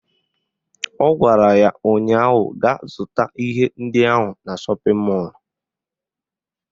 Ọ gwara ya ụnyaahụ "Gaa zụta ihe ndị ahụ na shọpịn mọlụ"